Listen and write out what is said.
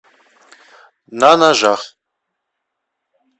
на ножах